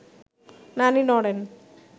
নানি নড়েন